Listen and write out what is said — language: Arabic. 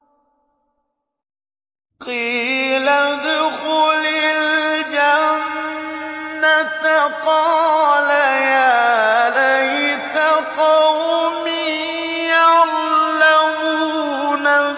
قِيلَ ادْخُلِ الْجَنَّةَ ۖ قَالَ يَا لَيْتَ قَوْمِي يَعْلَمُونَ